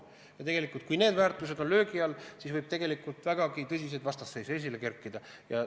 Ja kui need väärtused on löögi all, siis võib vägagi tõsiseid vastasseise tekkida.